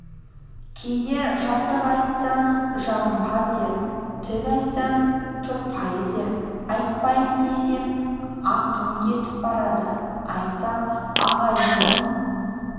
кейде жатық айтсаң жағымпаз дер тік айтсаң тұрпайы дер айтпайын десем ақым кетіп барады айтсам ағайынның